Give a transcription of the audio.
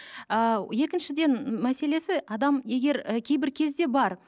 ыыы екіншіден м мәселесі адам егер і кейбір кезде бар